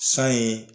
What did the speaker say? San ye